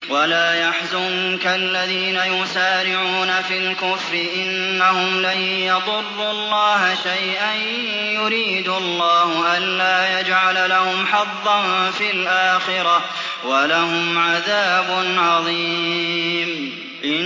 وَلَا يَحْزُنكَ الَّذِينَ يُسَارِعُونَ فِي الْكُفْرِ ۚ إِنَّهُمْ لَن يَضُرُّوا اللَّهَ شَيْئًا ۗ يُرِيدُ اللَّهُ أَلَّا يَجْعَلَ لَهُمْ حَظًّا فِي الْآخِرَةِ ۖ وَلَهُمْ عَذَابٌ عَظِيمٌ